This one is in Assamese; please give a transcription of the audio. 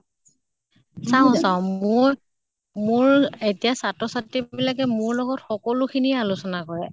চাওঁ চাওঁ মোৰ মোৰ এতিয়া ছাত্ৰ ছাত্ৰী বিলাকে মোৰ লগত সকলো খিনিয়ে আলোচনে কৰে।